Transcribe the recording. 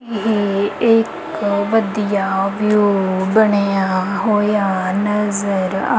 ਇਹ ਇੱਕ ਵਧੀਆ ਵਿਊ ਬਣਿਆ ਹੋਇਆ ਨਜ਼ਰ ਆ--